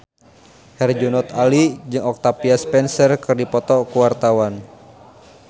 Herjunot Ali jeung Octavia Spencer keur dipoto ku wartawan